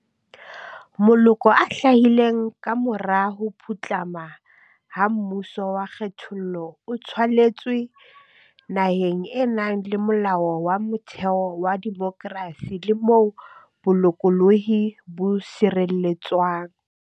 Moloko o hlahileng kamora ho putlama ha mmuso wa kgethollo o tswaletswe naheng e nang le Molao wa Motheo wa demokrasi le moo bolokolohi bo sireletswang.